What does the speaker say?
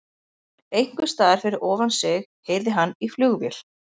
Einhversstaðar fyrir ofan sig heyrði hann í flugvél.